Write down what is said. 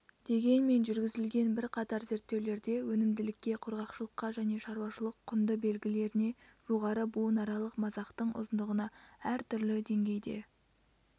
дегенмен жүргізілген бірқатар зерттеулерде өнімділікке құрғақшылыққа және шаруашылық-құнды белгілеріне жоғары буынаралық масақтың ұзындығына әртүрлі деңгейде